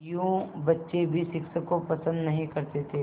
यूँ बच्चे भी शिक्षक को पसंद नहीं करते थे